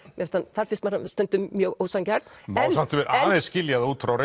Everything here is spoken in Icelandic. þar finnst mér hann stundum mjög ósanngjarn má samt skilja það út frá